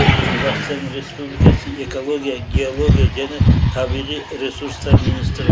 қазақстан республикасы экология геология және табиғи ресурстар министрі